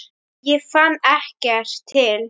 Ég fann ekkert til.